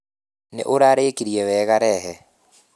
Nĩ ũrarĩkirie wega rehe